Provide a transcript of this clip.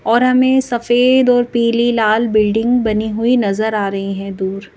और हमें सफेद और पीली लाल बिल्डिंग बनी हुई नजर आ रही है दूर।